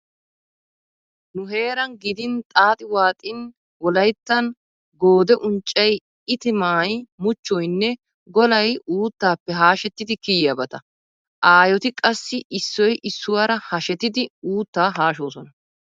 Nu heeran gidin xaaxi waaxin wolayttan goode unccay, itimaa muchchoynne golay uuttappe haashetti kiyiyabata. Aayoti qassi issoy issuwaara hashetidi uuttaa haashoosona.